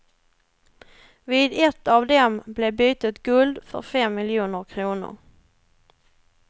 Vid ett av dem blev bytet guld för fem miljoner kronor.